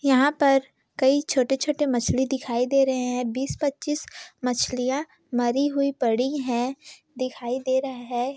यहा पर कई छोटे-छोटे मछली दिखाई दे रहे है बीस पच्चीस मछलिया मरी हुई पड़ी है दिखाई दे रहे है।